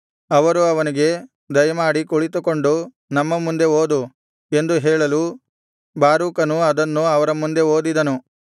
ಅವರು ಅವನಿಗೆ ದಯಮಾಡಿ ಕುಳಿತುಕೊಂಡು ನಮ್ಮ ಮುಂದೆ ಓದು ಎಂದು ಹೇಳಲು ಬಾರೂಕನು ಅದನ್ನು ಅವರ ಮುಂದೆ ಓದಿದನು